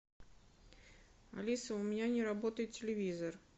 алиса у меня не работает телевизор